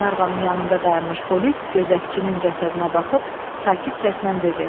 Qlenarvanın yanında dayanmış polis gözətçinin cəsədinə baxıb, sakit səslə dedi: